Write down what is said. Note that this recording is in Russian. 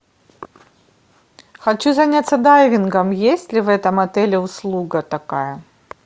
хочу заняться дайвингом есть ли в этом отеле услуга такая